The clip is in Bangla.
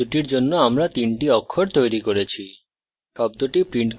car শব্দটির জন্য আমরা তিনটি অক্ষর তৈরি করেছি